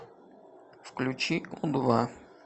включи у два